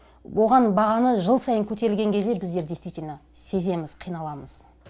оған бағаны жыл сайын көтерілген кезінде біздер действительно сеземіз қиналамыз